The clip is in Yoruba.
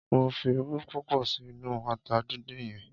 Mo fi irú púpọ̀ sí inú ata dindin yẹn.